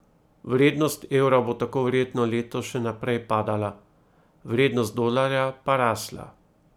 Vrednost evra bo tako verjetno letos še naprej padala, vrednost dolarja pa rasla.